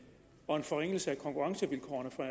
og en forringelse af konkurrencevilkårene for